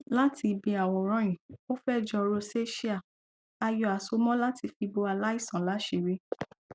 láti ibi àwòrán yìí ó fẹ jọ rosacea a yọ àsomọ láti fi bo aláìsàn láṣìírí